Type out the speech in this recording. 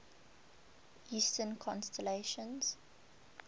eastern constellations